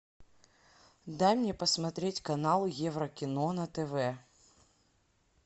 дай мне посмотреть канал еврокино на тв